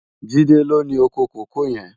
Jide ló ni ókó kókòó yèn